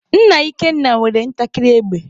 Nna Ikenna nwere ntakịrị égbè